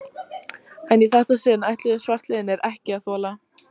En í þetta sinn ætluðu svartliðar ekki að þola